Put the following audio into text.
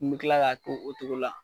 N be kila ka k'o cogo la.